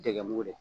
Dɛgɛ mugu don